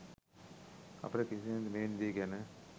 අපට කිසිසේත්ම මෙවැනි දේ ගැන